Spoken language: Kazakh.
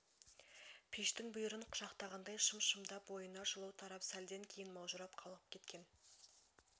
пештің бүйірін құшақтағандай шым-шымдап бойына жылу тарап сәлден кейін маужырап қалғып кеткен